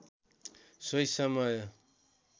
सोही समय